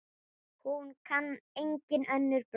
Hún kann engin önnur brögð.